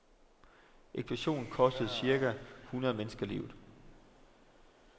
Eksplosionen kostede cirka hundrede mennesker livet.